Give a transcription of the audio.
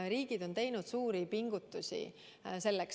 Riigid on teinud selleks suuri pingutusi.